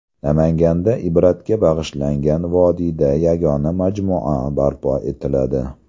Namanganda Ibratga bag‘ishlangan vodiyda yagona majmua barpo etiladi.